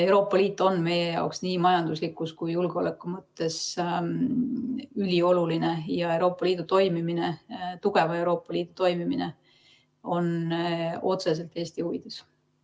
Euroopa Liit on meie jaoks nii majanduslikus kui ka julgeoleku mõttes ülioluline ja Euroopa Liidu toimimine, tugeva Euroopa Liidu toimimine on otseselt Eesti huvides.